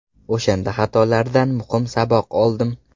O‘shanda xatolardan muhim saboq oldim.